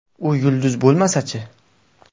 U yulduz bo‘lmasa-chi?